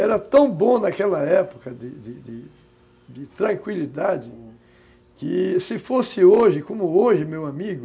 Era tão bom naquela época de de de de tranquilidade, uhum, que se fosse hoje, como hoje, meu amigo,